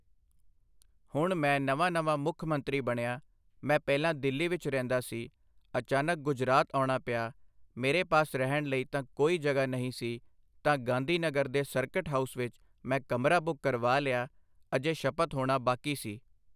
ਹੁਣ ਮੈਂ ਨਵਾਂ ਨਵਾਂ ਮੁੱਖ ਮੰਤਰੀ ਬਣਿਆ, ਮੈਂ ਪਹਿਲਾਂ ਦਿੱਲੀ ਵਿੱਚ ਰਹਿੰਦਾ ਸੀ, ਅਚਾਨਕ ਗੁਜਰਾਤ ਆਉਣਾ ਪਿਆ, ਮੇਰੇ ਪਾਸ ਰਹਿਣ ਲਈ ਤਾਂ ਕੋਈ ਜਗ੍ਹਾ ਨਹੀਂ ਸੀ ਤਾਂ ਗਾਂਧੀ ਨਗਰ ਦੇ ਸਰਕਿਟ ਹਾਊਸ ਵਿੱਚ ਮੈਂ ਕਮਰਾ ਬੁੱਕ ਕਰਵਾ ਲਿਆ, ਅਜੇ ਸ਼ਪਥ ਹੋਣਾ ਬਾਕੀ ਸੀ।